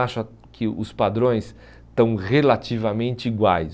Acho a que os padrões estão relativamente iguais.